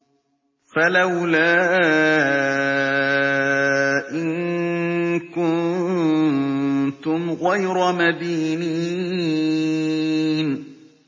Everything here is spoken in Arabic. فَلَوْلَا إِن كُنتُمْ غَيْرَ مَدِينِينَ